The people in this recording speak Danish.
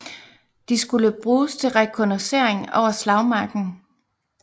De skulle bruges til rekognoscering over slagmarken